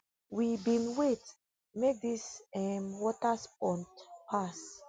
we bin wait make dis um waterspout pass